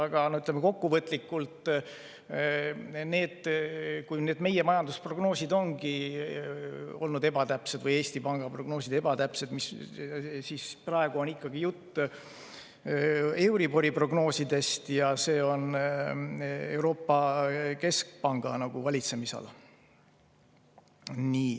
Aga ütleme kokkuvõtlikult, et kui meie majandusprognoosid või Eesti Panga prognoosid ongi olnud ebatäpsed, siis praegu on ikkagi jutt euribori prognoosidest ja see on Euroopa Keskpanga valitsemisala.